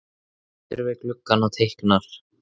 Hann situr við gluggann og teiknar.